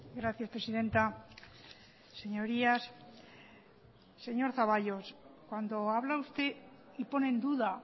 gracias presidenta señorías señor zaballos cuando habla usted y pone en duda